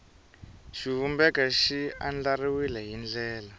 xivumbeko xi andlariwile hi ndlela